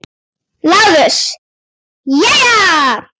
LÁRUS: Jæja!